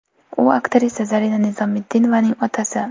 U − aktrisa Zarina Nizomiddinovaning otasi.